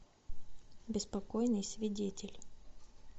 беспокойный свидетель